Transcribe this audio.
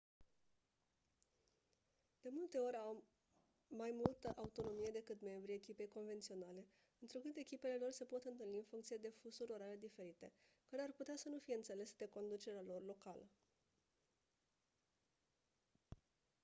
de multe ori au mai multă autonomie decât membrii echipei convenționale întrucât echipele lor se pot întâlni în funcție de fusuri orare diferite care ar putea să nu fie înțelese de conducerea lor locală